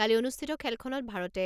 কালি অনুষ্ঠিত খেলখনত ভাৰতে